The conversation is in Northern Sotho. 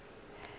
o rile ge a re